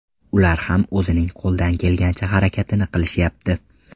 Ular ham o‘zining qo‘ldan kelgancha harakatini qilishyapti.